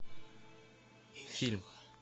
фильм